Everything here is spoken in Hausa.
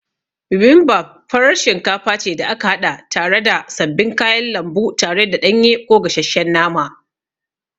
Bibimbap farar shinkafa ce da aka haɗa tare da sabbin kayan lambu tare da ɗanye ko gashesshen nama.